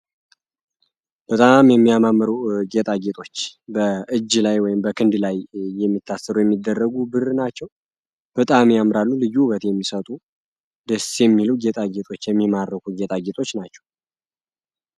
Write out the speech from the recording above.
በጣም የሚያማምሩ ጌጣጌጦች በእጅ ላይ ወይም ቀክንድ ላይ የሚታሰሩ የሚደረጉ ብር ናቸው። በጣም ያምራሉ ደስ የሚሉ ጌጣጌጦች የሚማርኩ ጌጣጌጦች ናቸው።